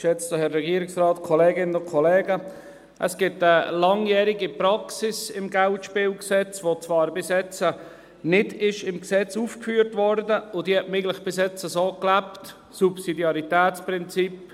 Es gibt eine langjährige Praxis im KGSG, die zwar bis jetzt nicht im Gesetz aufgeführt wurde – diese hat man bisher eigentlich so gelebt –, nämlich das Subsidiaritätsprinzip.